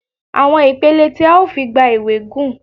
Àwọn ìpele tí a ó fi gba ìwé gùn.